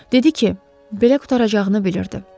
Dedi ki, belə qurtaracağını bilirdi.